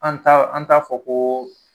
An t'a an t'a fɔ ko